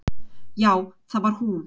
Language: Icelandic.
Já, það var hún.